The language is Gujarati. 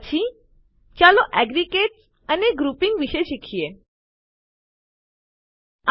પછી ચાલો એગ્રેગેટ્સ અને ગ્રૂપીંગ મિશ્રણો અને જૂથ વિશે શીખીએ